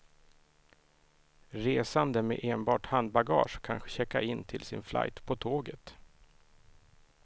Resande med enbart handbagage kan checka in till sin flight på tåget.